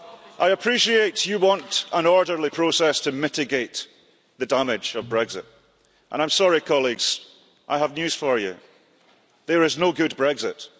I appreciate you want an orderly process to mitigate the damage of Brexit, and I'm sorry, colleagues, I have news for you there is no good Brexit.